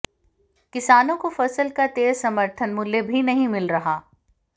किसानों को फसल का तय समर्थन मूल्य भी नहीं मिल रहा